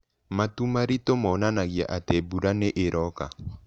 Matu maritũ monanagia atĩ mbura nĩ ĩroka.